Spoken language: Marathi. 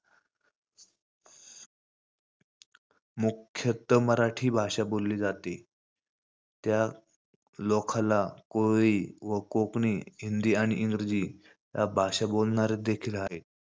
मुख्यत मराठी ही भाषा बोलली जाते. त्यालोखाला कोळी व कोकणी, हिंदी आणि इंग्रजी या भाषा बोलणारे देखील आहेत.